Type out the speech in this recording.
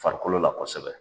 Farikolo la kosɛbɛ.